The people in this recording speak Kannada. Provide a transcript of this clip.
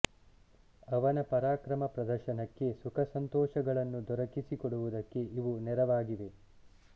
ಅವನ ಪರಾಕ್ರಮ ಪ್ರದರ್ಶನಕ್ಕೆ ಸುಖಸಂತೋಷಗಳನ್ನು ದೊರಕಿಸಿ ಕೊಡುವುದಕ್ಕೆ ಇವು ನೆರವಾಗಿವೆ